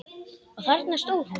Og þarna stóð hún.